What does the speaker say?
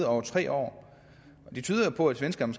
over tre år det tyder jo på at svenskerne